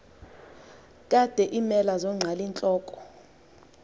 kade iimela zonqalintloko